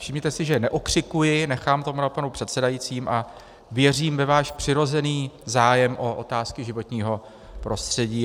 Všimněte si, že neokřikuji, nechám to na panu předsedajícím a věřím ve váš přirozený zájem o otázky životního prostředí.